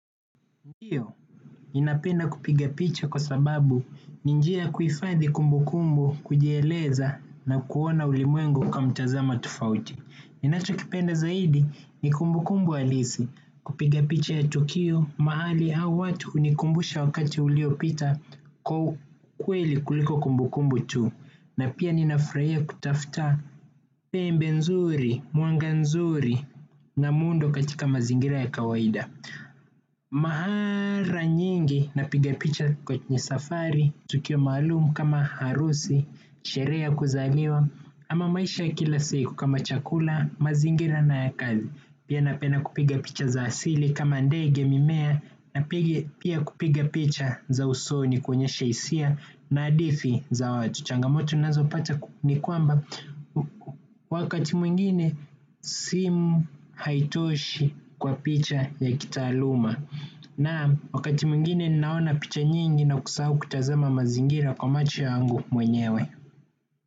Ndiyo ninapenda kupiga picha kwa sababu ninjia ya kuhifadhi kumbu kumbu kujieleza na kuona ulimwengu kwa mtazamo tofauti. Ninachokipenda zaidi ni kumbu kumbu halisi kupiga picha ya tukio mahali au watu hunikumbusha wakati uliopita kwa ukweli kuliko kumbu kumbu tu. Na pia ninafurahia kutafuta pembe nzuri, mwanga nzuri na muundo katika mazingira ya kawaida. Mara nyingi napiga picha kwenye safari, tukio malumu kama harusi, sherehe ya kuzaliwa ama maisha ya kila siku kama chakula, mazingira na ya kazi. Pia napenda kupiga picha za asili kama ndege mimea. Pia kupiga picha za usoni kuonyesha hisia na hadhifi za watu changamoto nazo pata ni kwamba wakati mwingine simu haitoshi kwa picha ya kitaluma na wakati mwingine ninaona picha nyingi na kusahau kutazama mazingira kwa macho yangu mwenyewe.